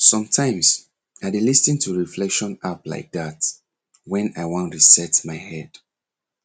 sometimes i dey lis ten to reflection app like that when i wan reset my head